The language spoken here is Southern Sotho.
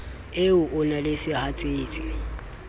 o e na le sehatsetsi